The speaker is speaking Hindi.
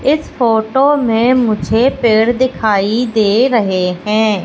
इस फोटो में मुझे पेड़ दिखाई दे रहे हैं।